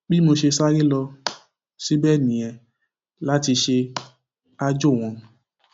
bí mo ṣe sáré lọ um síbẹ nìyẹn láti ṣe um aájò wọn